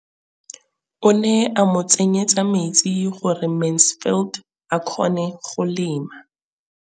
O ne gape a mo tsenyetsa metsi gore Mansfield a kgone go lema.